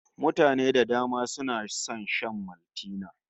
Mutane da dama suna son shan Maltina